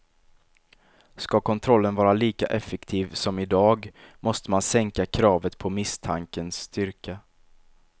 Ska kontrollen vara lika effektiv som i dag måste man sänka kravet på misstankens styrka.